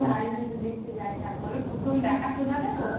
বাড়ির ভেতর দেখতে যায় না। বলো প্রথম দেখাশোনা টা